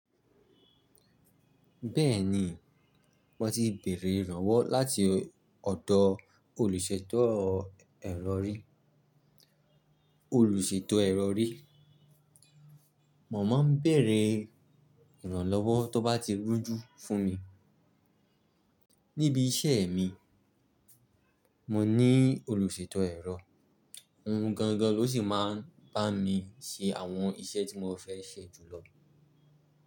Bẹ́ẹ̀ ni, mo ti bẹ̀rẹ̀ ìrànlọ́wọ́ láti ọ̀dọ̀ olùṣèto ẹrọ rí. Olùṣèto ẹrọ rí. Mọ̀ máa ń bẹ̀rẹ̀ ìrànlọ́wọ́ tó bá ti rújú fún mi. Níbi iṣẹ́ mi, mo ní olùṣètọ́ ẹ̀rọ. Òun gangan ló sì máa ń bá mi ṣe àwọn iṣẹ́ tí mo fẹ́ ṣe jùlọ.